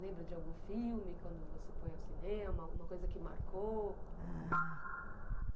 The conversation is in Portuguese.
Lembra de algum filme, quando você foi ao cinema, alguma coisa que marcou?